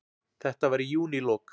Þetta var í júnílok.